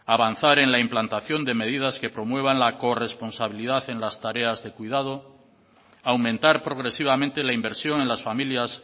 avanzar en la implantación de medidas que promuevan la corresponsabilidad en las tareas de cuidado aumentar progresivamente la inversión en las familias